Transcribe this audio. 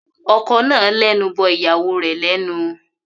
Ọkọ náà lẹnu bọ ìyàwó rẹ̀ lẹ́nu.